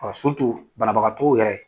banabagatɔw yɛrɛ